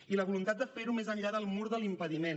i la voluntat de fer ho més enllà del mur de l’impediment